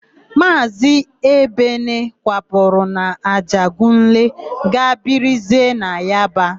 Maazị Ebene kwapụrụ n'Ajegunle gaa birizie na Yaba.